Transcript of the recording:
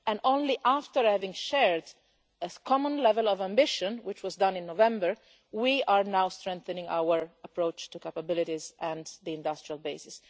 Only after having shared a common level of ambition, which was achieved in November, are we now strengthening our approach to capabilities and the industrial base.